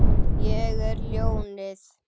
Ég er ljónið.